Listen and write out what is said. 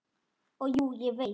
Og jú, ég veit.